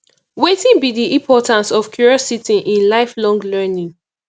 wetin be di importance of curiosity in lifelong learning